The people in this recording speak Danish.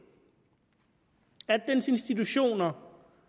at dens institutioner